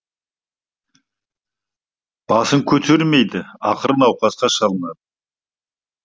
басын көтермейді ақыры науқасқа шалынады